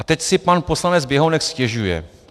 A teď si pan poslanec Běhounek stěžuje.